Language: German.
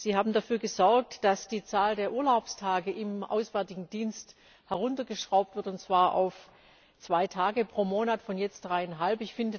Sie haben dafür gesorgt, dass die Zahl der Urlaubstage im Auswärtigen Dienst heruntergeschraubt wird, und zwar auf zwei Tage pro Monat von jetzt dreieinhalb.